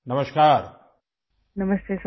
نمستے سر